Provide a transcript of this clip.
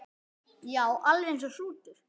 Já, alveg eins og hrútur.